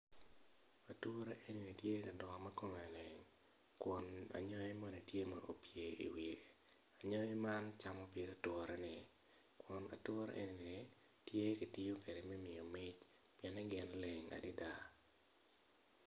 Ature eni tye ka dongo ma kome leng kun anyangi moni opye i kome ma kome leng anyagi man camo pig ature-ni kun ature eni kitiyo kwede me miyo mic pien en leng adada.